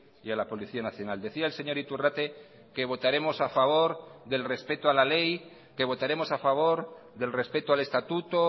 y a la policía nacional decía el señor iturrate que votaremos a favor del respeto a la ley que votaremos a favor del respeto al estatuto